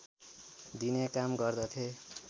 दिने काम गर्दथे